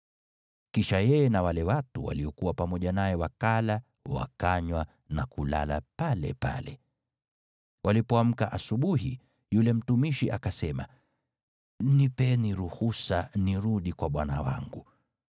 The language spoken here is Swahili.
Kisha yeye na wale watu waliokuwa pamoja naye wakala, wakanywa na kulala palepale. Walipoamka asubuhi, yule mtumishi, akasema, “Nipeni ruhusa nirudi kwa bwana wangu.”